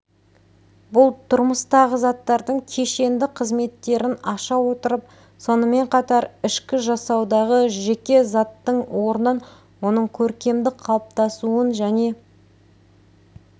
бұл тұрмыстағы заттардың кешенді қызметтерін аша отырып сонымен қатар ішкі жасаудағы жеке заттың орнын оның көркемдік қалыптасуын және